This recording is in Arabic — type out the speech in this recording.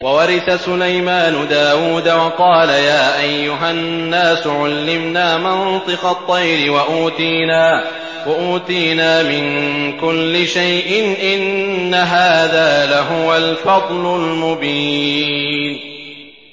وَوَرِثَ سُلَيْمَانُ دَاوُودَ ۖ وَقَالَ يَا أَيُّهَا النَّاسُ عُلِّمْنَا مَنطِقَ الطَّيْرِ وَأُوتِينَا مِن كُلِّ شَيْءٍ ۖ إِنَّ هَٰذَا لَهُوَ الْفَضْلُ الْمُبِينُ